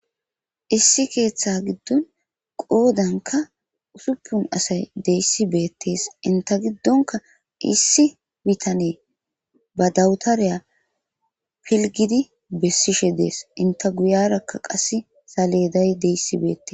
Issi keetha gidon qoodanka usupun asay de'esi beetes enta gidonka issi bitane ba dawutare pilgidi besishe de'es enta goyeraka kaseka saleday de'iyasi beetes.